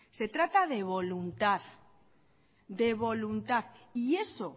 se trata de voluntad de voluntad y eso